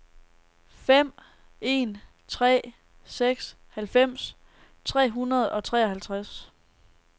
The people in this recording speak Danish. fem en tre seks halvfems tre hundrede og treoghalvtreds